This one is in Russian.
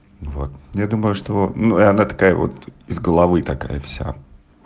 вот я думаю что ну она такая вот из головы такая вся